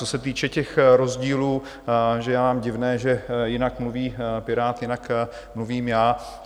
Co se týče těch rozdílů, že je vám divné, že jinak mluví Pirát, jinak mluvím já.